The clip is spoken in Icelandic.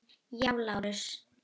Hjá Lárusi.